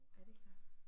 Ja det klart